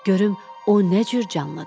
Görüm o nə cür canlıdır.